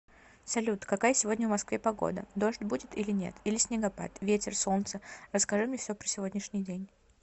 салют какая сегодня в москве погода дождь будет или нет или снегопад ветер солнце расскажи мне все про сегодняшний день